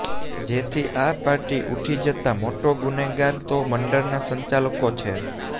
જેથી આ પાર્ટી ઉઠી જતા મોટા ગુનેગાર તો મંડળના સંચાલકો છે